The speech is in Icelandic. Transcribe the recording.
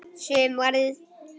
Sumarið fimmtíu og fimm.